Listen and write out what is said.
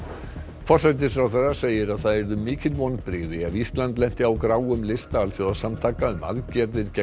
forsætisráðherra segir að það yrðu mikil vonbrigði ef Ísland lenti á gráum lista alþjóðasamtaka um aðgerðir gegn